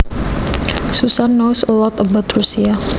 Susan knows a lot about Russia